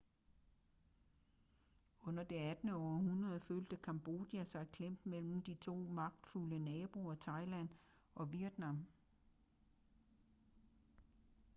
under det 18. århundrede følte cambodia sig klemt mellem de to magtfulde naboer thailand og vietnam